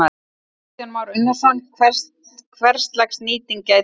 Kristján Már Unnarsson: Hverslags nýting gæti orðið hér?